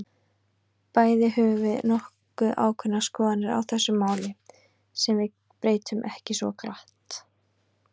Bæði höfum við nokkuð ákveðnar skoðanir á þessu máli, sem við breytum ekki svo glatt.